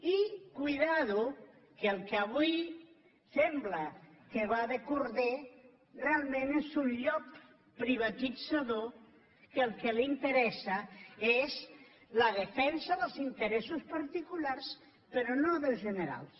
i compte que el que avui sembla que va de corder realment és un llop privatitzador que el que li interessa és la defensa dels interessos particulars però no dels generals